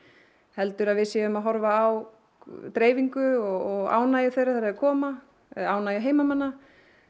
heldur að við séum að horfa á dreifingu og ánægju þeirra þegar þeir koma ánægju heimamanna